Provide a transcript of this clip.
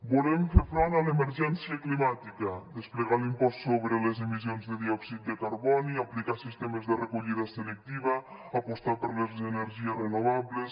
volem fer front a l’emergència climàtica desplegar l’impost sobre les emissions de diòxid de carboni aplicar sistemes de recollida selectiva apostar per les energies renovables